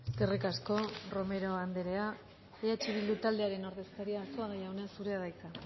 eskerrik asko romero andrea eh bildu taldearen ordezkaria arzuaga jauna zurea da hitza